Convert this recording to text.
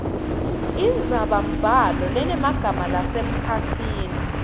indzabambhalo lenemagama lasemkhatsini